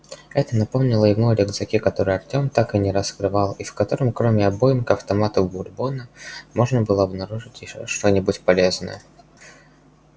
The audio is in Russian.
это напомнило ему о рюкзаке который артем так и не раскрывал и в котором кроме обойм к автомату бурбона можно было обнаружить ещё что-нибудь полезное